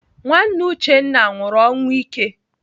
Nwanne Uchenna nwụrụ ọnwụ ike.